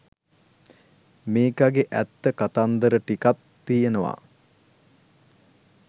මේකගෙ ඇත්ත කතන්දර ටිකක් තියෙනවා